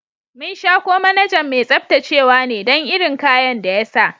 Mun sha ko manajan mai tsabtacewa ne dan irin kayan da ya sa.